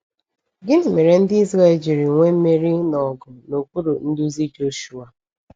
Gịnị mere ndị Ịzrel jiri nwee mmeri na ọgụ n’okpuru nduzi Joshuwa?